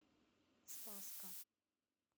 спасска